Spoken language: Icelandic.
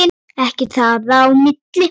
Ekkert þar á milli.